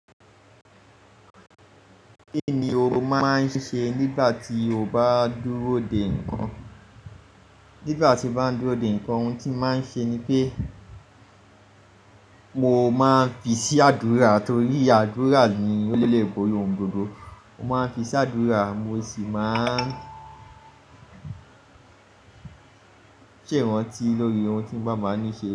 Kí ni o máa ń ṣe nígbà tí o bá dúró dè ń kà? Nígbà tí mo bá ń dúró dè ń kà ohun tí màá ń ṣe ni pé mo máa ń fi sí àdúrà torí àdúrà ni olébori òun gbogbo. Mo máa ń fi sí àdúrà mo sì máa ń ṣèràn tí lórí ohun tí bàbá mi ń ṣe.